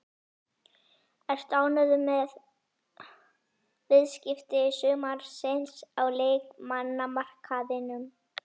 Ertu ánægður með viðskipti sumarsins á leikmannamarkaðinum?